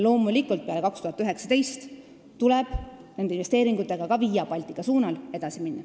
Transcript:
Loomulikult tuleb peale aastat 2019 nende investeeringutega ka Via Baltica suunal edasi minna.